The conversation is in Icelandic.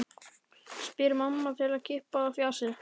spyr mamma til að klippa á fjasið.